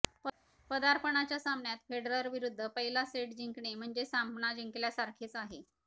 पदार्पणाच्या सामन्यात फेडररविरुद्ध पहिला सेट जिंकणे म्हणजे सामना जिंकल्यासारखेच आहे